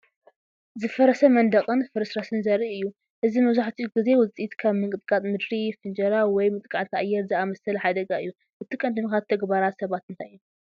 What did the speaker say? ዝፈረሰ መንደቕን ፍርስራስን ዘርኢ እዩ። እዚ መብዛሕትኡ ግዜ ውጽኢት ከም ምንቅጥቃጥ ምድሪ፡ ፍንጀራ፡ ወይ መጥቃዕቲ ኣየር ዝኣመሰለ ሓደጋ እዩ። እቲ ቀንዲ ምኽንያት ተግባራት ሰባት እንታይ እዩ?